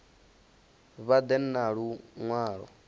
vha ḓe na lu ṅwalo